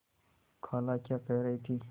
खाला क्या कह रही थी